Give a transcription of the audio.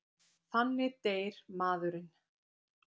Þannig deyr maðurinn.